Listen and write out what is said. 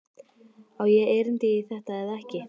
Á ég erindi í þetta eða ekki?